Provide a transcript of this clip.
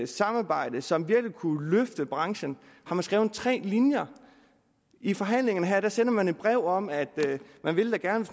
samarbejde og som virkelig ville kunne løfte branchen har man skrevet tre linjer i forhandlingerne her sender man et brev om at man da gerne